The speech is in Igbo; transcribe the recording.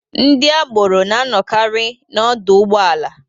Ndị agboro na-anọkari n'ọdọ ụgbọala.